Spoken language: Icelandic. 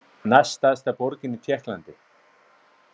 Næststærsta borgin í Tékklandi.